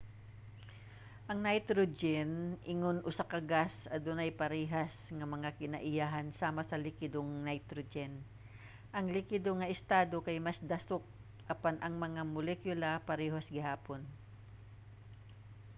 ang nitrogen ingon usa ka gas adunay parehas nga mga kinaiyahan sama sa likidong nitrogen. ang likido nga estado kay mas dasok apan ang mga molekula parehas gihapon